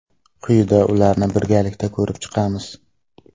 Quyida ularni birgalikda ko‘rib chiqamiz.